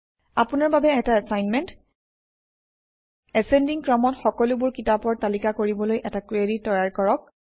আপোনাৰ বাবে এটা এচাইনমেণ্ট এচেণ্ডিং ক্ৰমত সকলোবোৰ কিতাপৰ তালিকা কৰিবলৈ এটা কুৱেৰি তৈয়াৰ কৰক